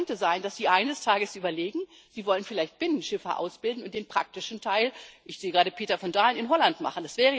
Es könnte sein, dass die Malteser eines Tages überlegen, sie wollen vielleicht Binnenschiffer ausbilden und den praktischen Teil ich sehe gerade Peter van Dalen in Holland machen.